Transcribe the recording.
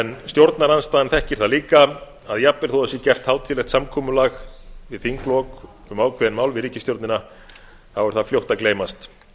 en stjórnarandstaðan þekkir það líka að jafnvel þótt það sé gert hátíðlegt samkomulag við þinglok um ákveðin mál við ríkisstjórnina er það fljótt að gleymast